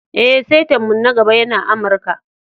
Eh, saita'n mu na gaba yana Amarka.